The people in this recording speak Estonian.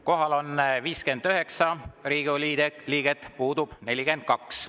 Kohal on 59 Riigikogu liiget, puudub 42.